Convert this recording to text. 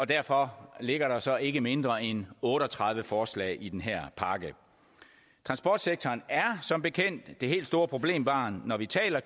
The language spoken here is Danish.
derfor ligger der så ikke mindre end otte og tredive forslag i den her pakke transportsektoren er som bekendt det helt store problembarn når vi taler